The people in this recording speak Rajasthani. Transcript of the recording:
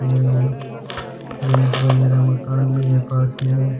यहाँ मकान भी है पास में।